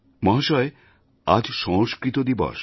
মহাশয় আজ সংস্কৃত দিবস